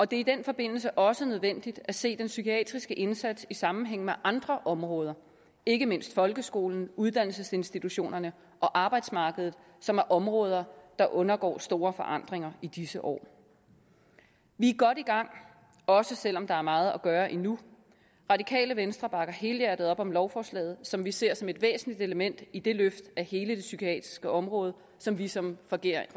det er i den forbindelse også nødvendigt at se den psykiatriske indsats i sammenhæng med andre områder ikke mindst folkeskolen uddannelsesinstitutionerne og arbejdsmarkedet som er områder der undergår store forandringer i disse år vi er godt i gang også selv om der er meget at gøre endnu radikale venstre bakker helhjertet op om lovforslaget som vi ser som et væsentligt element i det løft af hele det psykiatriske område som vi som regering